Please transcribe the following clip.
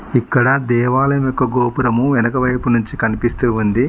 ఇక్కడ దేవాలయం యొక్క గోపురము వెనకవైపు నుంచి కనిపిస్తూ ఉంది.